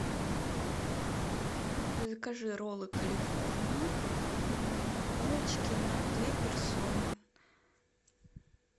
закажи роллы калифорния палочки на две персоны